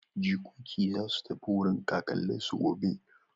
Jikoki za su tafi wurin kakanninsu gobe.